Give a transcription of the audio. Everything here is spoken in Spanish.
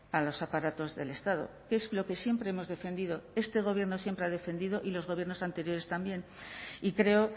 a los aparatos del estado que es lo que siempre hemos defendido este gobierno siempre ha defendido y los gobiernos anteriores también y creo